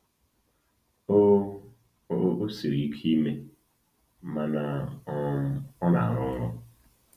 O O siri ike ime, mana um ọ na-arụ ọrụ.”